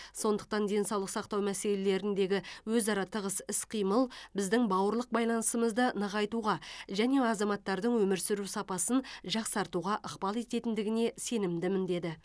сондықтан денсаулық сақтау мәселелеріндегі өзара тығыз іс қимыл біздің бауырлық байланысымызды нығайтуға және азаматтардың өмір сүру сапасын жақсартуға ықпал ететіндігіне сенімдімін деді